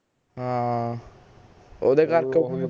ਹਾਂ ਓਹਦੇ ਕਰਕੇ